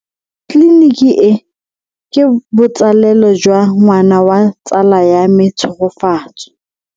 Tleliniki e, ke botsalelo jwa ngwana wa tsala ya me Tshegofatso.